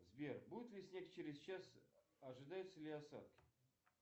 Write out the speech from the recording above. сбер будет ли снег через час ожидаются ли осадки